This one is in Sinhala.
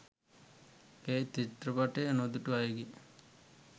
එය චිත්‍රපටය නොදුටු අයගේ